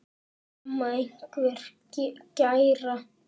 Mamma einhver gæra?